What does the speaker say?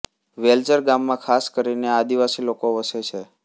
વેલઝર ગામમાં ખાસ કરીને આદિવાસી લોકો વસે છે